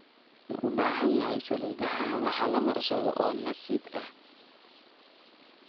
Maxaa ubahanhy salidha madhaxa lamarsadho oo nasit eh.